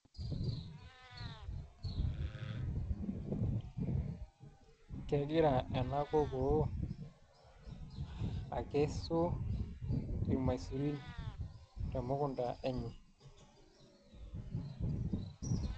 Kegira ena kokoo akesu irmaisurin temukunda enye